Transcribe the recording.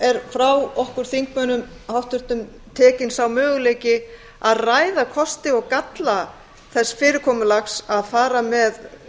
er frá okkur háttvirtum þingmönnum tekinn sá möguleiki að ræða kosti og galla þess fyrirkomulags að fara með